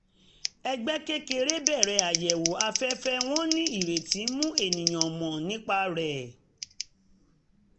ẹgbẹ́ kékeré bẹ̀rẹ̀ àyẹ̀wò afẹ́fẹ́ wọ́n ní ìrètí mú ènìyàn mọ̀ nípa rẹ̀